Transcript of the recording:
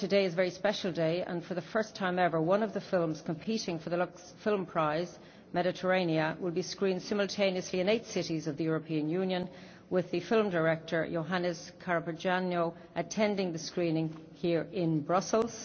Moreover, today is a very special day, and for the first time ever one of the films competing for the Lux Film Prize, Mediterranea, will be screened simultaneously in eight cities of the European Union, with the film director Jonas Carpignano attending the screening here in Brussels.